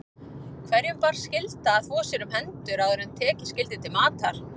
Hverjum bar skylda að þvo sér um hendur áður en tekið skyldi til matar.